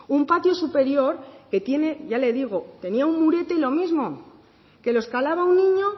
un patio superior que tiene ya le digo tenía un murete y los mismo que lo escalaba un niño